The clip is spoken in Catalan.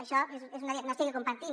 això és un diagnòstic que compartim